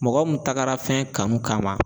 Mɔgɔ mun tagara fɛn kanu kama